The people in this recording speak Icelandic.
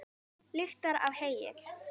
Lyktar af heyi.